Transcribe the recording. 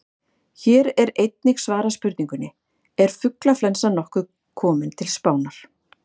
Hér er einnig svarað spurningunni: Er fuglaflensan nokkuð komin til Spánar?